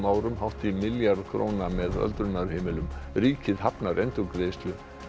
árum hátt í milljarð króna með öldrunarheimilum ríkið hafnar endurgreiðslu